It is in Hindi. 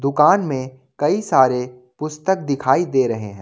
दुकान में कई सारे पुस्तक दिखाई दे रहे हैं।